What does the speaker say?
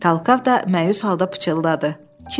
Talkav da məyus halda pıçıldadı: